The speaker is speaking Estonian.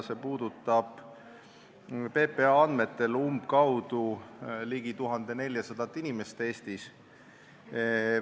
See puudutab PPA andmetel Eestis ligi 1400 inimest.